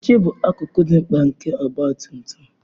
Oche bụ akụkụ dị mkpa nke ọgba tum tum